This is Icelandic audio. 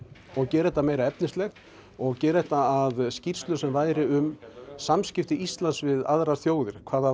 og gera þetta meira efnislegt og gera þetta að skýrslu sem væri um samskipti Íslands við aðrar þjóðir hvað það